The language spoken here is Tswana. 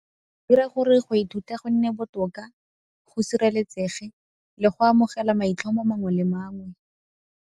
Dira gore go ithuta go nne botoka, go sireletsege le go amogela maitlhomo mangwe le mangwe.